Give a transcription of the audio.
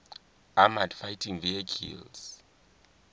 armoured fighting vehicles